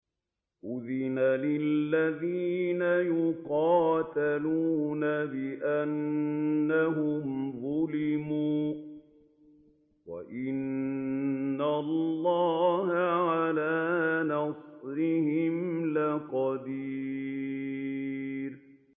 أُذِنَ لِلَّذِينَ يُقَاتَلُونَ بِأَنَّهُمْ ظُلِمُوا ۚ وَإِنَّ اللَّهَ عَلَىٰ نَصْرِهِمْ لَقَدِيرٌ